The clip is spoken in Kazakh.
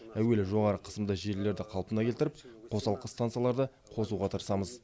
әуелі жоғары қысымды желілерді қалпына келтіріп қосалқы станцияларды қосуға тырысамыз